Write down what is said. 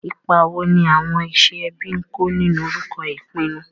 Ipa wo ni àwọn iṣẹ́ ẹbí ń kó nínú orúkọ ìpinnu?